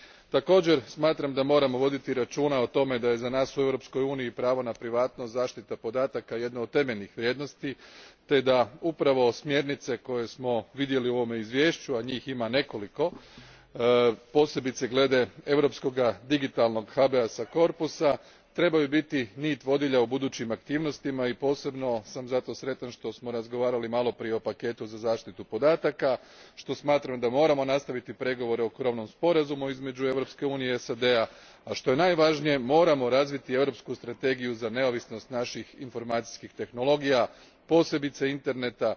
Također smatram da moramo voditi računa o tome da je za nas u Europskoj uniji pravo na privatnost i zaštita podataka jedna od temeljnih vrijednosti te da upravo smjernice koje smo vidjeli u ovome izvješću, a njih ima nekoliko, posebice glede europskoga digitalnog trebaju biti nit vodilja u budućim aktivnostima i posebno sam zato sretan što smo razgovarali malo prije o paketu za zaštitu podataka, što smatram da moramo nastaviti pregovore o krovnom sporazumu između Europske unije i SAD a, a što je najvažnije, moramo razviti europsku strategiju za neovisnost naših informacijskih tehnologija, posebice interneta.